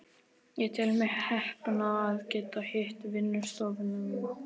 Ég tel mig heppna að geta hitað vinnustofuna mína.